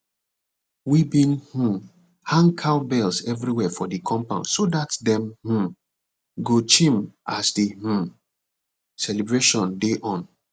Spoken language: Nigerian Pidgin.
we been um hang cowbells everywhere for the compound so dat dem um go chim as the um celebration dey on